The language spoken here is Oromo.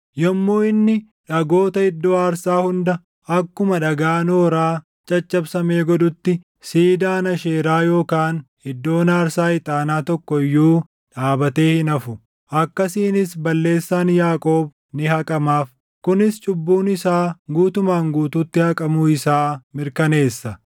Yommuu inni dhagoota iddoo aarsaa hunda akkuma dhagaa nooraa caccabsamee godhutti, siidaan asheeraa yookaan iddoon aarsaa ixaanaa tokko iyyuu // dhaabatee hin hafu. Akkasiinis balleessaan Yaaqoob ni haqamaaf; kunis cubbuun isaa guutumaan guutuutti haqamuu isaa mirkaneessa.